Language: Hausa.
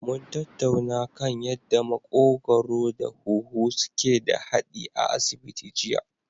Mun tattauna kan yanda maƙogwaro da huhu suke da haɗi a asibiti jiya.